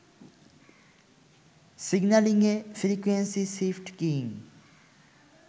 সিগন্যালিংএ frequency shift keying